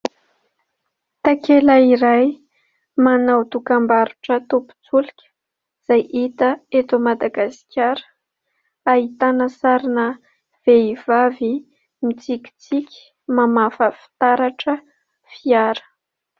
Takela iray manao dokam-barotra tompon-tsolika izay hita eto Madagasikara, ahitana sarina vehivavy mitsikitsiky mamafa fitaratra fiara.